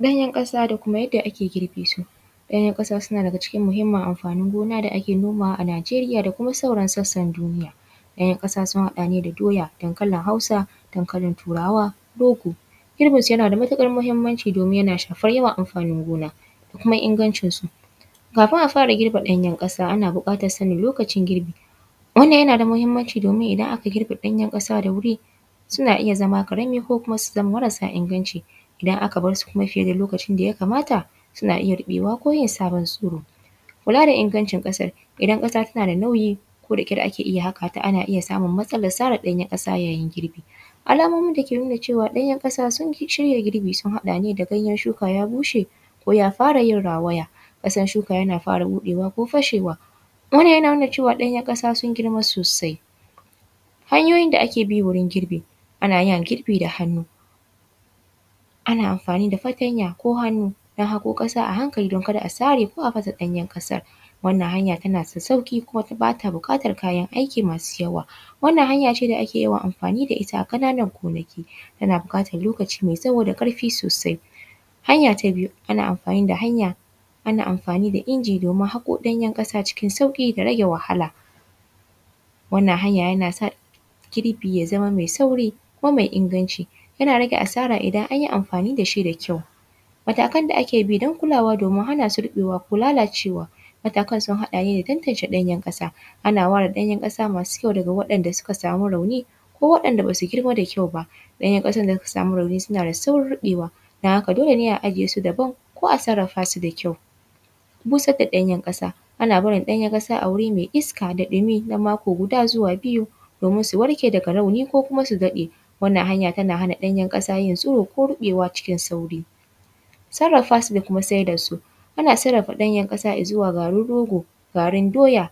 Ɗanyen ƙasa da kuma yadda ake girbe su. Ɗanyen ƙasa na daga cikin muhimmin amfanin gona da ake nonawa a Nijeriya da kuma sauran sassan duniya. Dayan kasasun haɗa ne da doya dankalin hausa, dankalin turawa rogo. Girbinsu yana da matuƙar muhimmanci domin yana ya shafar yawan amfanin gona. Kuma aingancinsu, kafin a fara girbe ɗayan ƙasa ana buƙatar sani lokacin girbi wani yana da muhimmanci domin idan aka girbe ɗayan ƙasa da bai fi suna iya karami ko kuma marasa inganci, idan aka bar su kuma fiye da lokacin da ya kamata suba iya rubewa ko yin sabon tsiro kula da inagancin ƙasa. Idan kasa tana da nauyi ko da ƙyar ake haka ta ana iya samun matsala na sara ɗanyen kasa yayin girbi. Alamomi da ke nuna cewa danyen ƙasa sun shirya girbi sun haɗa da ganyen shuka ya bushe ko ya fara yin rawaya. Ƙasar shuka yana fara fashewa, wannan yana nuna cewa ɗanyen kasa sun girma sosai. Hanyoyin da ake bi wajen girbi. Ana amfani da fatanya ko hannu wajen haƙo ƙasa a hankali don kar a sare ko a fasa ɗanyen kasar. Wannan hanya tana da sauki sosai kuma ba ta buƙatar Kayan aikinmasu yawa. Wannan hanya shi ne ake yawan amfani da ita a ƙananan gonaki tana buƙatar lokaci mai tsawo da ƙarfi sosai. Hanya ta biyu ana amfani da inji domin haƙo ɗanyen kasa cikin sauki da rage wahala. Wannan hanya yana sa girbi ya zama mai sauri kuma mai inganci. Yana rage a sara idan an yi amfani da shi mai ƙyau. Matakan da ake bi don kulawa da ko lalacewa matakan sun hada ne da tantance ɗanyen ƙasa ana ware ɗanyen kasa masu ƙyau faga waɗanda suka sama rauni ko waɗanda ba su girma da kyau ba ɗanyen ƙasar da suka sama rauni suna da saurin riɓewa. Don haka dole ne a ajiye su daban ko a sarrafa su da ƙyau. Busarvda ɗanyen ƙasa ana barin danyen kasa wari mai iska da ɗimi na mako guda zuwa biyu domin su warke daga rauni ko su dabe. Wannan hanya tana hana ɗanyan ƙasa yin tsiro ko riɓewa cikin sauki. Sarrafa su da kuma saida su. Ana sai da danyen kasa izuwa garin rogo, garin doya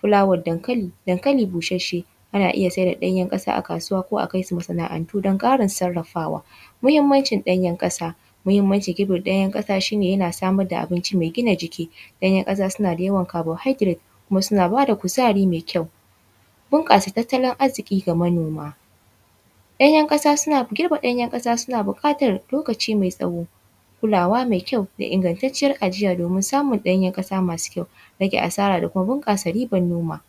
fukawar dankali, dankali busasshe ana iya saida ɗanye kasa a kasuwa ko masana'antu dan ƙara sarrafawa. Muhammancin ɗanyen ƙasa, mahimmanci kilo dayan ɗanyen kasa shi ne a samar da abinci mai gina jiki danyen ƙasa suna da carbohydrates suna ba da kuzari mai ƙyau. Bunƙasa tattalin arziki ga manoma. Ɗanyen ƙasa suna girbe ɗanyen ƙasa suna buƙatar lokaci mai tsawo da kula mai ƙyau da inganta ciyar ajiya domin samun danyen ƙasar masu ƙyau rage asara da kuma bunƙasa harkar noma